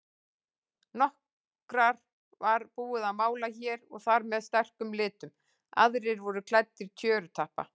Nokkra var búið að mála hér og þar með sterkum litum, aðrir voru klæddir tjörupappa.